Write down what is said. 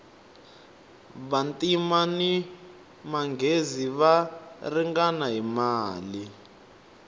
vantima ni manghezi va ringana hi mali